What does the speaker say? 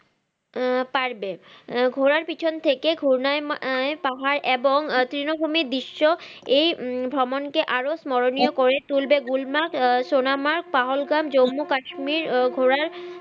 আহ পারবে আহ ঘোড়ার পিছন থেকে ঘূর্ণায়ম আহ পাহাড় এবং তৃনভুমি বিশ্ব এই ভ্রমন কে আরো স্মরণীয় করে তুলবে গুলমাক আহ সোনা মাক পাহলগাম জম্মু কাশ্মীর ও ঘোড়ায়